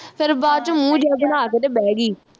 ਫਿਰ ਬਾਅਦ ਵਿਚ ਮੂੰਹ ਜਿਹਾ ਬਣਾ ਕੇ ਤੇ ਬਹਿ ਗਈ